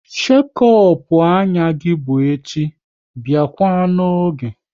Shekop anya gị bụ echi, biakwa n'oge!